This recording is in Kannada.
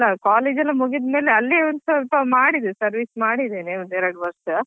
ಅದ್~ ಅದು ಅಲ್ಲ college ಎಲ್ಲ ಮುಗಿದ್ ಮೇಲೆ ಅಲ್ಲಿಯೇ ಒಂದು ಸ್ವಲ್ಪ ಮಾಡಿದೆ service ಮಾಡಿದ್ದೇನೆ ಒಂದ್ ಎರಡ್ ವರ್ಷ.